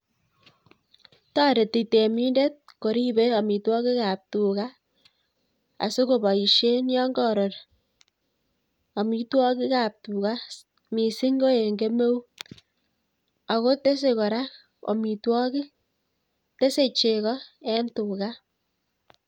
Toreti temindet koribei amitwagik ab tuga, asi koboishe yon kakoror amitwagik ab tuga mising ko eng kemeut. Ako tesei kora amitwagik, tesei cheko eng tuga